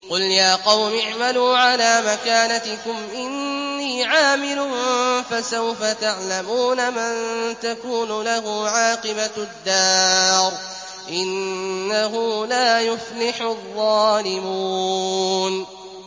قُلْ يَا قَوْمِ اعْمَلُوا عَلَىٰ مَكَانَتِكُمْ إِنِّي عَامِلٌ ۖ فَسَوْفَ تَعْلَمُونَ مَن تَكُونُ لَهُ عَاقِبَةُ الدَّارِ ۗ إِنَّهُ لَا يُفْلِحُ الظَّالِمُونَ